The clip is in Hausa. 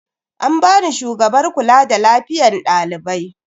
An bani shugabar kula da lafiyan dalibai.